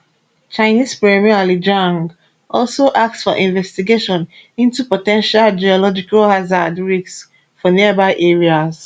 chinese premier li qiang also ask for investigation into po ten tial geological hazard risks for nearby areas